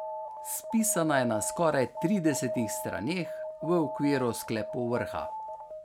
Spisana je na skoraj tridesetih straneh v okviru sklepov vrha.